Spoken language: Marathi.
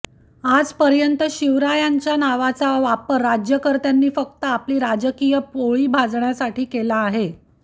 आज पर्यंत शिवरायांचा नावाचा वापर राज्यकर्त्यांनी फक्त आपली राजकीय पोळी भाजण्यासाठी केला आहे